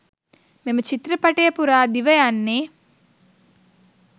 මෙම චිත්‍රපටය පුරා දිවයන්නේ.